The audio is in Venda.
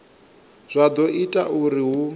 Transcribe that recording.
zwa do ita uri hu